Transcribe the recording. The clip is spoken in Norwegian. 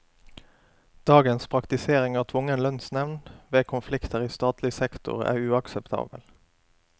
Dagens praktisering av tvungen lønnsnevnd ved konflikter i statlig sektor er uakseptabel.